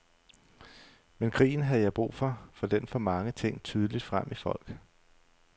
Men krigen havde jeg brug for, fordi den får mange ting tydeligt frem i folk.